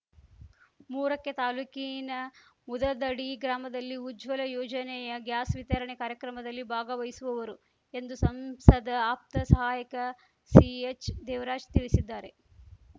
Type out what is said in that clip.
ಮೂರಕ್ಕೆ ತಾಲೂಕಿನ ಮುದದಡಿ ಗ್ರಾಮದಲ್ಲಿ ಉಜ್ವಲ ಯೋಜನೆಯ ಗ್ಯಾಸ್‌ ವಿತರಣೆ ಕಾರ್ಯಕ್ರಮದಲ್ಲಿ ಭಾಗವಹಿಸುವವರು ಎಂದು ಸಂಸದ ಆಪ್ತ ಸಹಾಯಕ ಸಿಎಚ್‌ದೇವರಾಜ್ ತಿಳಿಸಿದ್ದಾರೆ